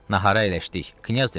Nahara əyləşdik, Knyaz dedi: